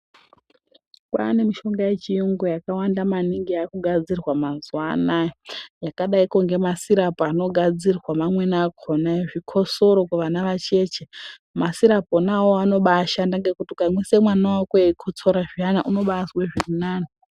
Kwaane mishonga yechiyungu yakawanda maningi yaakugadzirwa mazuwaanaya yakadaiko ngemasirapu anogadzirwa mamwei akona ezvikotsoro kuvana vacheche masirapu ona awao anobaashanda ngekuti ukamwisa mwana wako eikotsora zviana unobaazwe zviri nani.